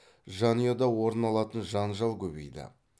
жанұяда орын алатын жанжал көбейді